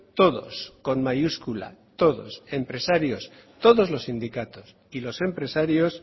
todos con mayúscula todos los sindicatos y empresarios